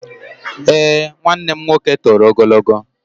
Eé, nwanne m nwoke toro ogologo.